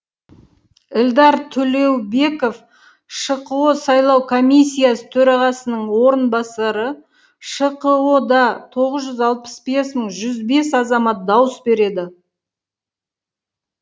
эльдар төлеубеков шқо сайлау комиссиясы төрағасының орынбасары шқо да тоғыз жүз алпыс бес мың жүз бес азамат дауыс береді